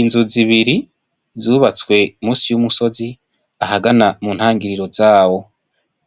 Inzu zibiri zubastwe munsi y'umusozi ahagana mu ntangiriro zawo,